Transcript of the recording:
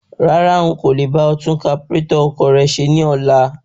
Rárá,n kò le bá ọ tún kaburétọ̀ ọkọ̀ rẹ ṣe ní ọlá.